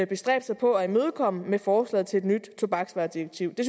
bestræbt sig på at imødekomme med forslaget til et nyt tobaksvaredirektiv det